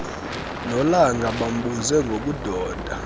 nolanga bambuze ngobudoda